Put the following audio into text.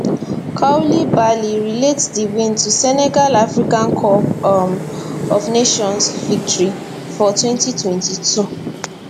koulibaly relate di win to senegal africa cup um of nations victory for 2022